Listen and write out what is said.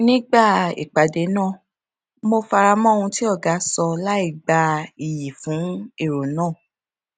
nígbà ìpàdé náà mo fara mó ohun tí ọga sọ láìgba iyì fún èrò náà